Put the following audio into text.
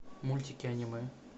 мультики аниме